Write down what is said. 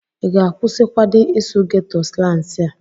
ị ga-akwụsịkwadi ịsụ geto slansi a?